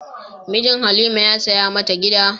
Mijin Halima ya saya mata gida.